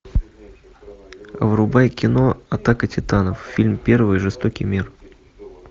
врубай кино атака титанов фильм первый жестокий мир